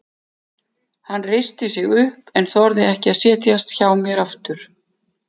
Hann reisti sig upp en þorði ekki að setjast hjá mér aftur.